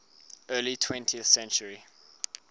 early twentieth century